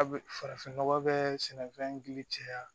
A bɛ farafin nɔgɔ bɛ sɛnɛfɛn gili cɛya